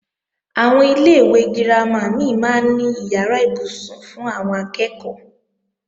Àwọn ilé-ìwé girama mí máa ń ní ìyàrá ibùsùn fún àwọn akẹ́ẹ̀kọ́